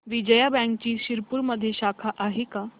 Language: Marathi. विजया बँकची शिरपूरमध्ये शाखा आहे का